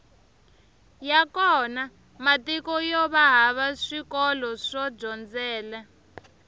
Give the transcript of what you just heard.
ya kona matiko yova hava swikolo swo dyondzela